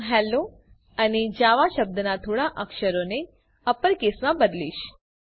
હું હેલ્લો અને જાવા શબ્દના થોડા અક્ષરોને અપર કેસમાં બદલીશ